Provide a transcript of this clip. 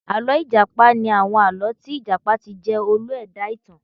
Àlọ́ ìjàpá ni àwọn àlọ́ tí ìjàpá ti jẹ́ olú ẹ̀dá-ìtàn